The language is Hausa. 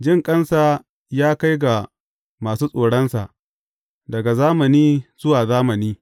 Jinƙansa ya kai ga masu tsoronsa, daga zamani zuwa zamani.